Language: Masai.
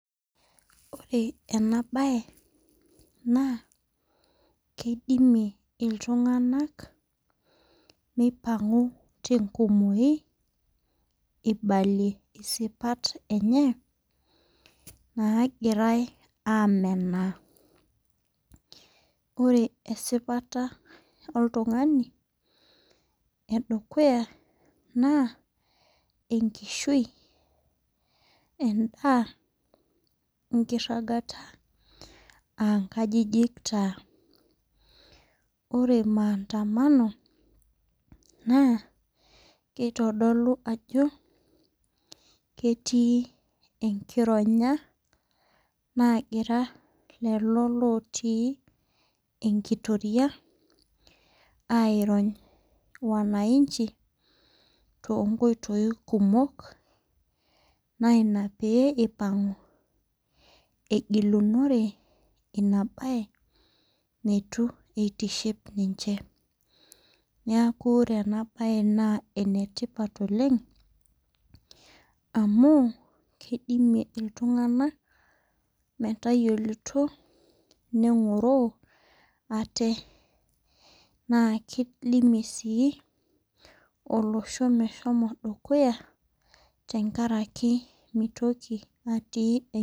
Ore ena baye naa keidimie iltung'anak meipang'u te enkumoyu, eibalie isipat enye naagirai aamenaa. Ore esipata oltung'ani e dukuya naa enkishui, endaa, inkiragata aa nkajijik taa. Ore maandamano neitodolu ajo ketii enkironya, naagira lelo lotii enkitoria, airony wananchi to inkoitoi kumok, naa ina pee eipang'u egilunore ina baye neitu eitiship ninche. Neaku ore ena baye naa ene tipat oleng' amu keidimie iltung'ana metayiolouto, neng'oroo aate, naaj keidimie sii olosho meshomo dukuya enkaraki meitoki atii.